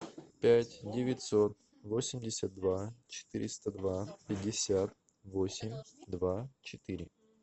пять девятьсот восемьдесят два четыреста два пятьдесят восемь два четыре